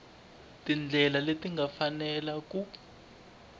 tindlela leti nga fanela ku